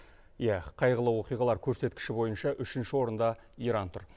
иә қайғылы оқиғалар көрсеткіші бойынша үшінші орында иран тұр